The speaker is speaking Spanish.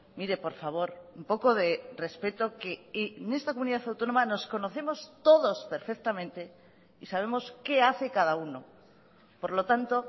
mire por favor un poco de respeto que en esta comunidad autónoma nos conocemos todos perfectamente y sabemos qué hace cada uno por lo tanto